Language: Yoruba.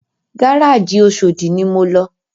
Gárájì Oṣòdi ni mo lọ